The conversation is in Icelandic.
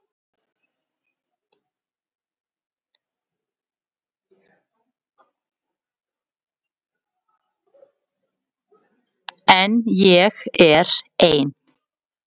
En ég er ein.